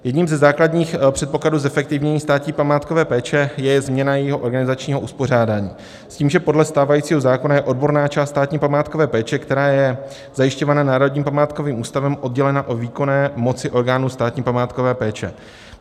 Jedním ze základních předpokladů zefektivnění státní památkové péče je změna jejího organizačního uspořádání s tím, že podle stávajícího zákona je odborná část státní památkové péče, která je zajišťována Národním památkovým ústavem, oddělena od výkonné moci orgánů státní památkové péče.